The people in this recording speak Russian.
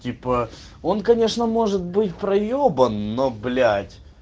типа он конечно может быть проёбан но блять